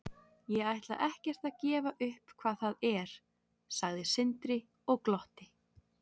Ég ætla ekkert að gefa upp hvað það er, sagði Sindri og glotti.